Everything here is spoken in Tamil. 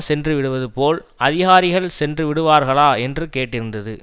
சென்றுவிடுவது போல் அதிகாரிகள் சென்று விடுவார்களா என்று கேட்டிருந்தது